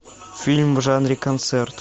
фильм в жанре концерт